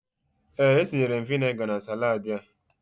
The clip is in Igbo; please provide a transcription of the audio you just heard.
Ee, etinyere m vinegar na saladị a.